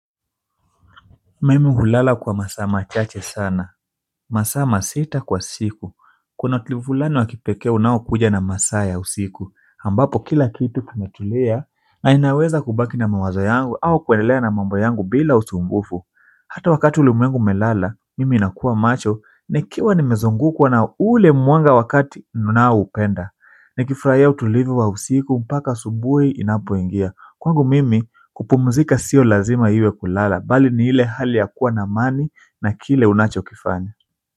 Mimi hulala kwa masaa machache sana masaa masita kwa siku kuna utulivu fulani wakipekee unao kuja na masaa ya usiku, ambapo kila kitu kimetulia na ninaweza kubaki na mawazo yangu au kuendelea na mambo yangu bila usumbufu hata wakati ulimwengu umelala, mimi nakua macho nikiwa nimezungukwa na ule mwanga wakati ninao upenda, nikifuraia utulivu wa usiku mpaka asubuhi inapo ingia kwangu mimi, kupumzika sio lazima iwe kulala, bali ni ile hali ya kuwa na amani na kile unacho kifanya.